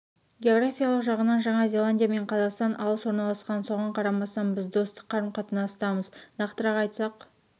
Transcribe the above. географиялық жағынан жаңа зеландия мен қазақстан алыс орналасқан соған қарамастан біз достық қарым қатынастамыз нақтырақ айтсақ